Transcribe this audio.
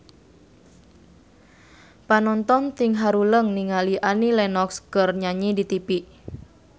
Panonton ting haruleng ningali Annie Lenox keur nyanyi di tipi